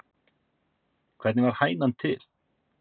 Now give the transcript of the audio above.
Hvernig varð hænan til?